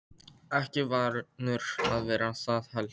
Ekki vanur að vera það heldur.